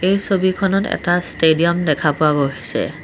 এই ছবিখনত এটা ষ্টেডিয়াম দেখা পোৱা গৈছে।